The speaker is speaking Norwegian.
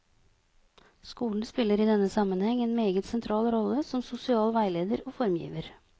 Skolen spiller i denne sammenheng en meget sentral rolle som sosial veileder og formgiver.